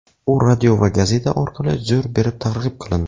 U radio va gazeta orqali zo‘r berib targ‘ib qilindi.